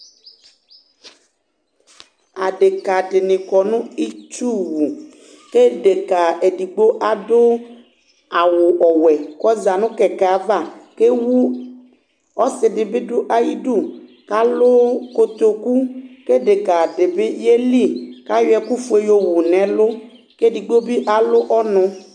Adéka dini kɔ nu itsu wũ Edéka ɛdigbo adu awu ɔwɛ kɔ za nu ƙɛkɛ ava kéwu Ɔsi dibi du ayi du kalu kokoku Ké édeka dibi yéli ka yɔ ɛku ƒué yo wunɛ lu, ké digbo bia lu ɔnu